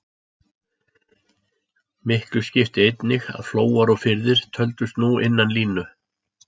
Miklu skipti einnig að flóar og firðir töldust nú innan línu.